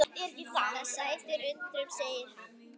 Það sætir undrum segir hann.